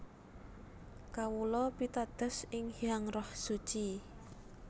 Kawula pitados ing Hyang Roh Suci